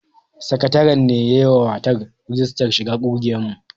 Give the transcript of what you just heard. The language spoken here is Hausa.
Sakatare ne ya yi mata rijistar shiga ƙungiyar mu